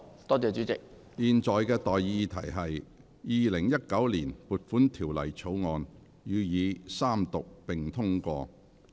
我現在向各位提出的待議議題是：《2019年撥款條例草案》予以三讀並通過。